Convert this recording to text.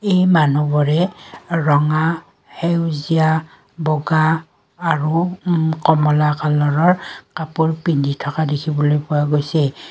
এই মানুহবোৰে ৰঙা সেউজীয়া বগা আৰু উম কমলা কালাৰৰ কাপোৰ পিন্ধি থকা দেখিবলৈ পোৱা গৈছে।